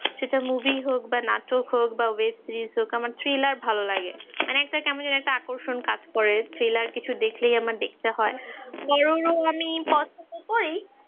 সেটা movie হোক বা নাটক হোক বা web series হোক আমার thriller ভালো লাগে মানে একটা কেমন জানি একটা আকর্ষণ কাজ করে thriller কিছু দেখলেই আমার দেখতে হয় horror ও আমি পছন্দ করি